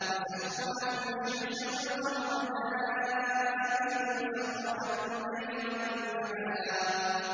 وَسَخَّرَ لَكُمُ الشَّمْسَ وَالْقَمَرَ دَائِبَيْنِ ۖ وَسَخَّرَ لَكُمُ اللَّيْلَ وَالنَّهَارَ